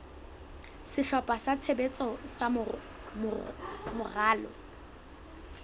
sehlopha sa tshebetso sa moralo